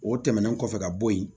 O tɛmɛnen kɔfɛ ka bɔ yen